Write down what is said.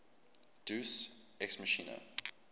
deus ex machina